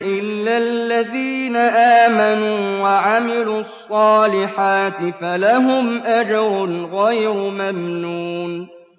إِلَّا الَّذِينَ آمَنُوا وَعَمِلُوا الصَّالِحَاتِ فَلَهُمْ أَجْرٌ غَيْرُ مَمْنُونٍ